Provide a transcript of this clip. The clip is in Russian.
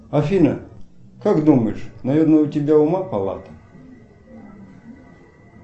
афина как думаешь наверное у тебя ума палата